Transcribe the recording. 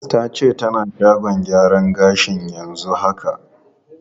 Ta ce tana shagon gyaran gashi yanzu haka.